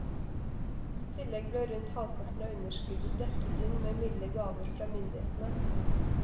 I tillegg ble rundt halvparten av underskuddet dekket inn med milde gaver fra myndighetene.